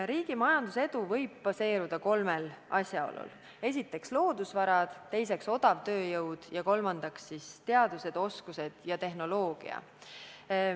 Riigi majandusedu saab baseeruda kolmel teguril: esiteks loodusvarad, teiseks odav tööjõud ja kolmandaks teadmised, oskused ja tehnoloogia.